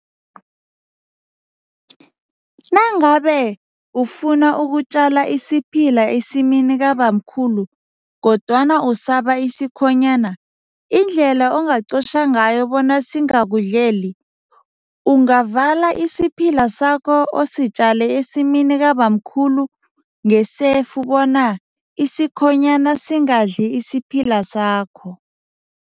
Nangabe ufuna ukutjala isiphila esimini kabamkhulu kodwana usaba isikhonyana, indlela angaqotjha ngayo bona singakudleli, ungavala isiphila sakho ositjale esimini kabamkhulu ngesefu bona isikhonyana singadli isiphila sakho.